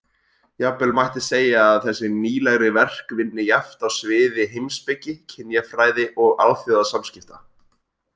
Jafnvel mætti segja að þessi nýlegri verk vinni jafnt á sviði heimspeki, kynjafræði og alþjóðasamskipta.